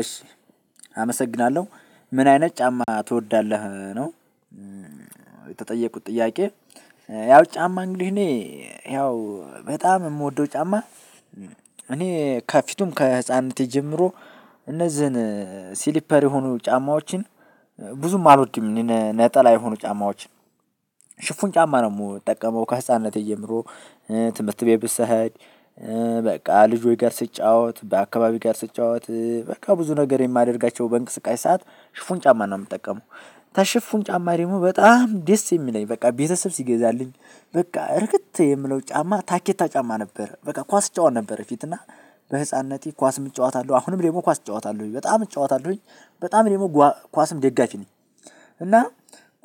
እሺ አመሰግናለሁ ምን አይነት ጫማ ትወዳለህ ነው? እ የተጠየኩት ጥያቄ ያው ጫማ እንግዲህ እኔ ያው እ በጣም የምወደው ጫማ። እኔ ከፊትም ከህፃንነቴ ጀምሮ። እነዝህን ስሊፐር የሆኑ ጫማዎችን። ብዙም አሎድም እኔ ነጠላ የሆኑ ጫማዎችን ሽፍን ጫማ ነው የምጠቀመው ከህፃንነቴ ጀምሮ። እ ትምህርት ቤት ስሄድ እ በቃ ልጆች ጋር ስትጫወት በአካባቢው ጋር ስትጫወት እ በቃ ብዙ ነገር የማደርጋቸው በእንቅስቃሴ ሰዓት ሽፉን ጫማ ነው የምጠቀመው። ከሽፉን ጫማ ደግሞ በጣም ደስ የሚለኝ በቃ ቤተሰብ ሲገዛልኝ በቃ እርክት የምለው ጫማ ታኬታ ጫማ ነው። በቃ ኩዋስ እጫወት ነበር በፊት እና በህፃንነቴ ኳስም እጫወታሉ አሁንም ደግሞ ኳስ እጫወታሉ በጣም እጫወታሉኝ በጣም ደግሞ ኳስም ደጋፊ ነኝ። እና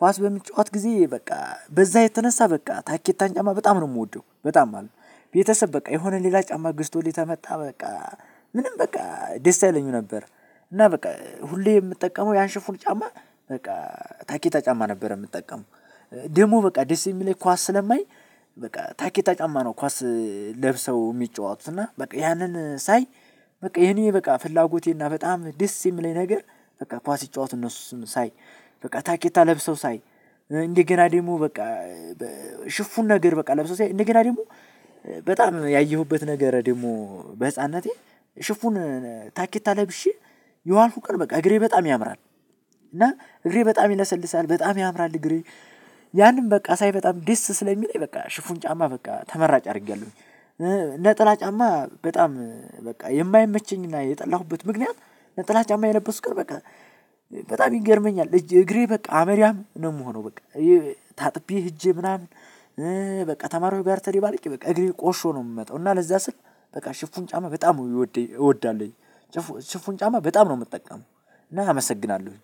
ኳስ በምትጫወት ጊዜ በቃ በዛ የተነሳ በቃ ታኬታን ጫማ በጣም ነው የምወደው በጣም ማለት ነው። ቤተሰብ በቃ የሆነ ሌላ ጫማ ግዝቶልኝ ከመጣ በቃ ምንም በቃ ደስ አይለኝም ነበር። እና በቃ ሁሌ የምጠቀመው ያንሽፉን ጫማ በቃ ታኬታ ጫማ ነበር የምጠቀመው። ደግሞ በቃ ደስ የሚለኝ ኳስ ስለማይ በቃ ታኬታ ጫማ ነው ኳስ። ለብሰው የሚጫወቱት እና በቃ ያንን ሳይ። በቃ የኔ በቃ ፍላጎቴ እና በጣም ደስ የሚለኝ ነገር። በቃ ኳስ ሲጫወቱ እነሱም ሳይ በቃ ታኬታ ለብሰው ሳይ። እንደገና ደግሞ በቃ እ ሽፉን ነገር በቃ ለብሰው ሳይ እንደገና ደግሞ። በጣም ያየሁበት ነገር ደግሞ በህፃንነቴ ሽፉን ታኬታ ለብሼ የዋልኩት ቀን በቃ እግሬ በጣም ያምራል። እና እግሬ በጣም ይለሰልሳል በጣም ያምራል እግሬ። ያንን በቃ ሳይ በጣም ዲስ ስለሚለኝ በቃ ሽፉን ጫማ በቃ ተመራጭ አድርጌያለሁኝ። ነጠላ ጫማ በጣም በቃ የማይመቸኝና የጠላሁበት ምክንያት ነጠላ ጫማ የለበስኩ ቀን በቃ። በጣም ይገርመኛል እጅ እግሬ በቃ አመዳም ነው የምሆነው በቃ። ታጥቢ ሄጄ ምናምን እ በቃ ተማሪው ጋር ተደባለቄ በቃ እግሬ ቆሽሾ ነው የምመጣው። እና ለዛ ስል በቃ ሽፉን ጫማ በጣም እወድ እወዳለሁኝ። ሽፉን ጫማ በጣም ነው የምጠቀመው። እና አመሰግናለሁኝ።